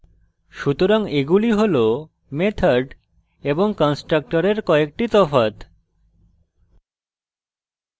সুতরাং এগুলি হল method এবং constructor কয়েকটি তফাৎ